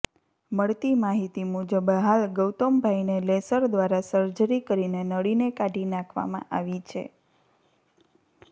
મળતી માહિતી મુબજ હાલ ગૌતમભાઈને લેસર દ્વારા સર્જરી કરીને નળીને કાઢી નાખવામાં આવી છે